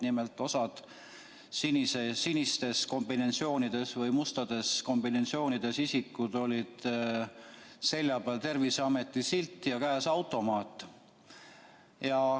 Nimelt, osal sinistes kombinesoonides või mustades kombinesoonides isikutel oli selja peal Terviseameti silt ja käes automaat.